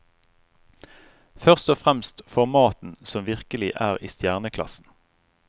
Først og fremst for maten, som virkelig er i stjerneklassen.